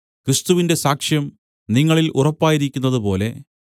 ക്രിസ്തുവിന്റെ സാക്ഷ്യം നിങ്ങളിൽ ഉറപ്പായിരിക്കുന്നതുപോലെ